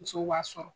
Musow b'a sɔrɔ